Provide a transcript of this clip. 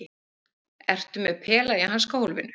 Ertu með pela í hanskahólfinu?